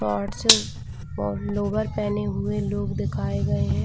Shorts और lower पहने हुए लोग दिखाए गए हैं।